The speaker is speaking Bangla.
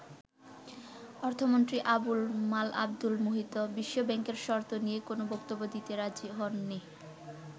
অর্থমন্ত্রী আবুল মাল আবদুল মুহিত বিশ্ব ব্যাংকের শর্ত নিয়ে কোন বক্তব্য দিতে রাজি হননি।